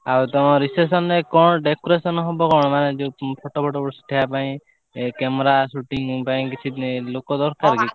ଆଉ ତମ reception ରେ କଣ ମାନେ decoration ହବ କଣ ଫଟୋ ଫୋଟୋ ଉଠେଇବା ପାଇଁ camera shooting ପାଇଁ କିଛି ଲୋକ ଦରକାର କି?